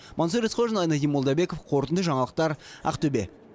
мансұр есқожин айнадин молдабеков қорытынды жаңалықтар ақтөбе